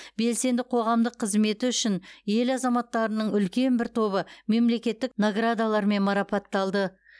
белсенді қоғамдық қызметі үшін ел азаматтарының үлкен бір тобы мемлекеттік наградалармен марапатталды